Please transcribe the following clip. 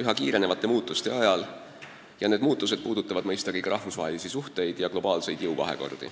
üha kiiremate muutuste ajal ning need muutused puudutavad mõistagi ka rahvusvahelisi suhteid ja globaalseid jõuvahekordi.